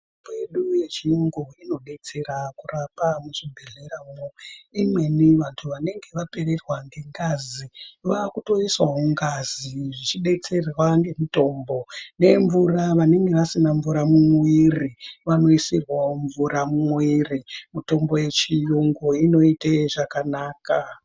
Mitombo kwedu yechiyungu, inodetsera kurapa muchibhehleya mwo ,imweni vanhu vanenge vapererwa ngengazi vaakutoiswawo ngazi zvichidetserwa ngemitombo nemvura, vanenge vasina mvura mumwiri vanoisirwawo mvura mumwiri, mitombo yechiyungu inoite zvakanaka.